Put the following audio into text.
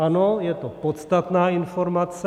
Ano, je to podstatná informace.